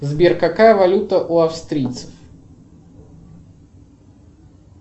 сбер какая валюта у австрийцев